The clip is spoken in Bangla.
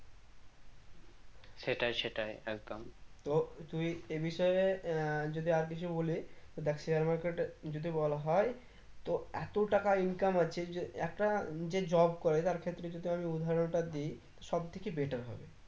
তো তুই এই বিষয় আহ যদি আর কিছু বলি দেখ share market টা যদি বলা হয় তো এতো টাকা income আছে যে একটা যে job করে তার ক্ষেত্রে যদি আমি উদাহরনটা দিই সব দিকে better হবে